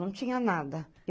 Não tinha nada.